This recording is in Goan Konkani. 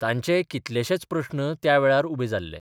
तांचेय कितलेशेच प्रस्न त्यावेळार उबे जाल्ले.